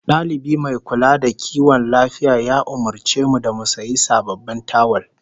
Dalibi mai kula da kiwon lafiya ya umurce mu da mu sayi sababbin tawul